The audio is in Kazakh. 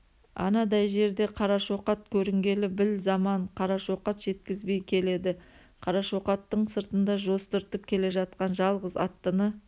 анадай жерде қарашоқат көрінгелі біл заман қарашоқат жеткізбей келеді қарашоқаттың сыртында жостыртып келе жатқан жалғыз аттыны